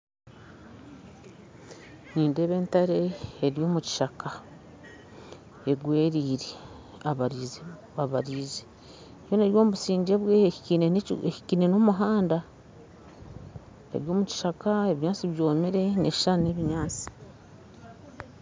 Nindeeba entare eri omu kishaka egwereire abaraije kandi eri omu busingye bwayo ehikaine n'omuhanda eri omu kishaka, ebinyaatsi byomire, neshushana n'ebinyaatsi